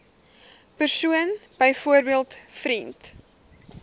persoon byvoorbeeld vriend